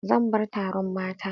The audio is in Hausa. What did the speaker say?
Zan bar taron mata.